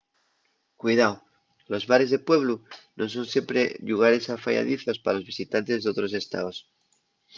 cuidao: los bares de pueblu nun son siempre llugares afayadizos pa los visitantes d’otros estaos